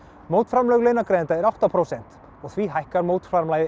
mótframlag launagreiðenda er átta prósent og því hækkar mótframlagið